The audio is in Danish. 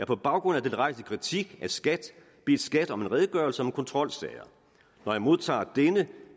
på baggrund af den rejste kritik af skat bedt skat om en redegørelse om kontrolsager når jeg modtager denne